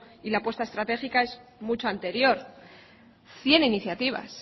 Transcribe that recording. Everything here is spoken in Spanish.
y la puesta estratégica es mucho anterior cien iniciativas